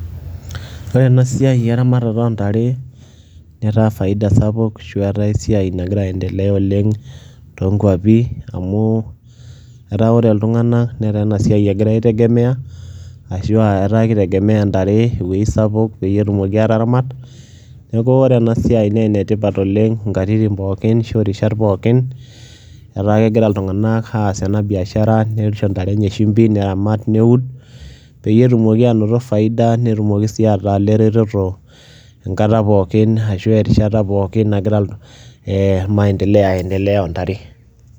Ore ena siai eramatata o ntare netaa faida sapuk ashu etaa esia nagira aendelea oleng' too nkuapi amu etaa ore iltung'anak netaa ena siai egira aitegemea ashu a etaa kitegemea ntare ewuei sapuk peyie etumoki aataramat. Neeku ore ena siai nee ene tipat oleng' nkatitin pookin ashu rishat pookin, eta kegira iltung'anak aas ena biashara nisho ntare enye shumbi , neramat, neud peyie etumoki aanoto faida netumoki sii ataa ile retoto enkata pookin ashu erishata pookin nagira ee maendeleo aiendelea o ntare.